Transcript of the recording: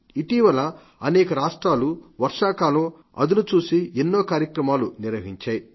ఇటీవల అనేక రాష్ట్రాలు వర్షాకాలం అదనుచూసి ఎన్నో కార్యక్రమాలు నిర్వహించారు